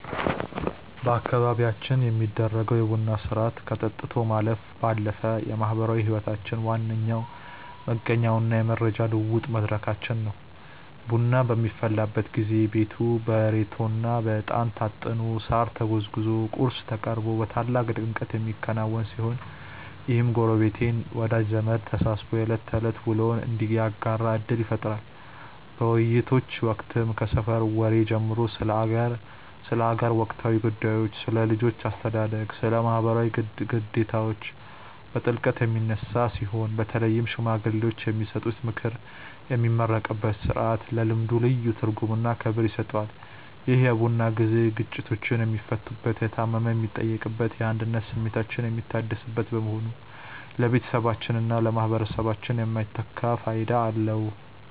በአካባቢያችን የሚደረገው የቡና ሥርዓት ከጠጥቶ ማለፍ ባለፈ የማኅበራዊ ሕይወታችን ዋነኛ መገኛውና የመረጃ ልውውጥ መድረካችን ነው። ቡናው በሚፈላበት ጊዜ ቤቱ በሬቶና በዕጣን ታጥኖ፣ ሳር ተጎዝጉዞና ቁርስ ቀርቦ በታላቅ ድምቀት የሚከናወን ሲሆን፣ ይህም ጎረቤትና ወዳጅ ዘመድ ተሰባስቦ የዕለት ተዕለት ውሎውን እንዲያጋራ ዕድል ይፈጥራል። በውይይቶች ወቅትም ከሰፈር ወሬ ጀምሮ ስለ አገር ወቅታዊ ጉዳዮች፣ ስለ ልጆች አስተዳደግና ስለ ማኅበራዊ ግዴታዎች በጥልቀት የሚነሳ ሲሆን፣ በተለይም ሽማግሌዎች የሚሰጡት ምክርና የሚመረቅበት ሥርዓት ለልምዱ ልዩ ትርጉምና ክብር ይሰጠዋል። ይህ የቡና ጊዜ ግጭቶች የሚፈቱበት፣ የታመመ የሚጠየቅበትና የአንድነት ስሜታችን የሚታደስበት በመሆኑ ለቤተሰባችንና ለማኅበረሰባችን የማይተካ ፋይዳ አለው።